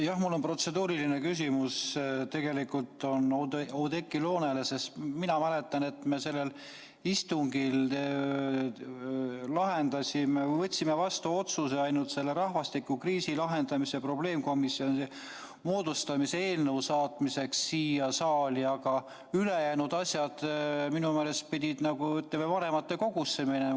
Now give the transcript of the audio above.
Jah, mul on protseduuriline küsimus, tegelikult on see Oudekki Loonele, sest mina mäletan, et komisjoni istungil me võtsime vastu otsuse ainult rahvastikukriisi lahendamise probleemkomisjoni moodustamise eelnõu saatmiseks siia saali, aga ülejäänud asjad pidid minu meelest vanematekogusse minema.